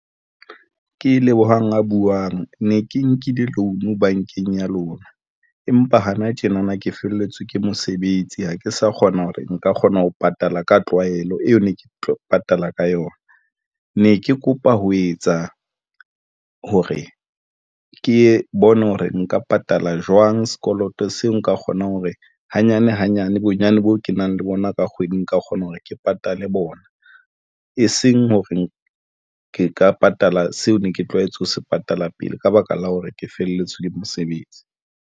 Ke lebohang a buwang ne ke nkile loan bankeng ya lona empa hana tjena na ke felletswe ke mosebetsi ha ke sa kgona hore nka kgona ho patala ka tlwaelo eo ne ke tlo patala ka yona, ne ke kopa ho etsa hore ke bone hore nka patala jwang sekoloto seo. Nka kgonang hore hanyane hanyane bonyane boo ke nang le bona ka kgwedi, nka kgona hore ke patale bona e seng hore ke ka patala seo ne ke tlwaetse ho se patala pele ka baka la hore ke felletswe ke mosebetsi.